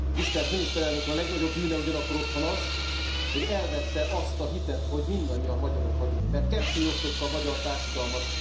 Tisztelt Miniszterelnök Úr! A legnagyobb bűne ugyanakkor otthon az, hogy elvette azt a hitet, hogy mindannyian magyarok vagyunk, mert kettéosztotta a magyar társadalmat.